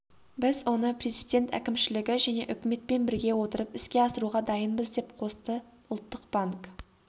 біз оны президент әкімшілігі және үкіметпен біріге отырып іске асыруға дайынбыз деп қосты ұлттық банк